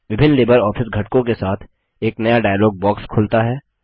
विभिन्न LibreOffice घटकों के साथ एक नया डायलॉग बॉक्स खुलता है